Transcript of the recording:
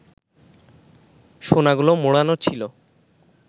সোনাগুলো মোড়ানো ছিল